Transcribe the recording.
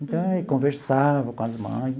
Então e, conversava com as mães.